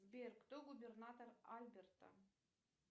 сбер кто губернатор альберта